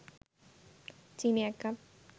চিনি ১ কাপ